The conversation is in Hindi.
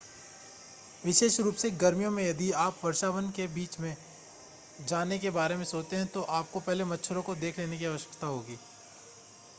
विशेष रूप से गर्मियों में यदि आप वर्षावन के बीच से जाने के बारे में सोचते है, तो आपको पहले मच्छरों को देख लेने की आवश्यकता होगी ।